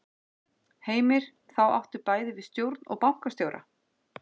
Heimir: Þá áttu bæði við stjórn og bankastjóra?